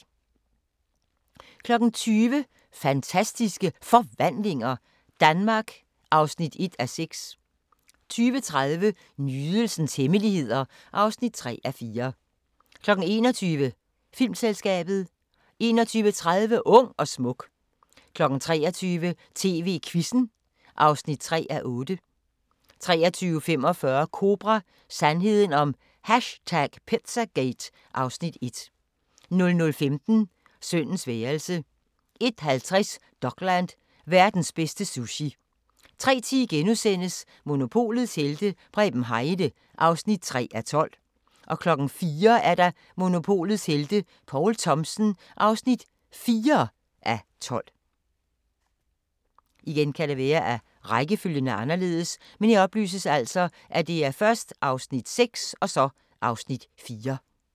20:00: Fantastiske Forvandlinger – Danmark (1:6) 20:30: Nydelsens hemmeligheder (3:4) 21:00: Filmselskabet 21:30: Ung og smuk 23:00: TV-Quizzen (3:8) 23:45: Kobra – Sandheden om #pizzagate (Afs. 1) 00:15: Sønnens værelse 01:50: Dokland: Verdens bedste sushi 03:10: Monopolets helte - Preben Heide (6:12)* 04:00: Monopolets helte - Poul Thomsen (4:12)